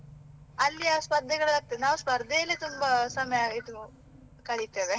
ಅಲ್ಲಿ ಆ ಸ್ಪರ್ಧೆಗಳು ಆಗ್ತದೆ, ನಾವು ಸ್ಪರ್ಧೆ ಅಲ್ಲಿಯೇ ನಾವು ತುಂಬಾ ಸಮಯ ಇದು ಕಳಿತೇವೆ.